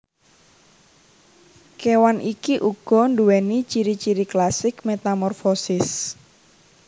Kewan iki uga duwéni ciri ciri klasik metamorfosis